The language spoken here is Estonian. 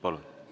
Palun!